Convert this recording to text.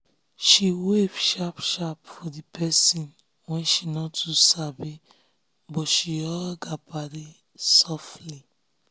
she wave sharp sharp for the um pesin wey she no too sabi but she hug um her paddy softly.